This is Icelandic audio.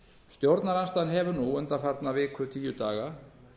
stjórnarandstaðan hefur nú undanfarna viku til tíu daga